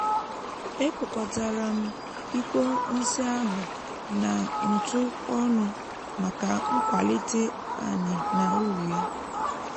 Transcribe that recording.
e kpòkòtàrà m ikpo nsị áhù nà ntụ ọ́nụ́ màkà nkwàlítè anì na úrù ya